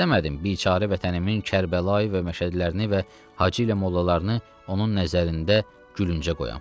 İstəmədim biçarı vətənimin Kərbəlayı və məşədilərini və hacı ilə mollalarını onun nəzərində gülüncə qoyam.